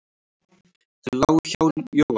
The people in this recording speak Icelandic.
Þeir lágu hjá Jóa.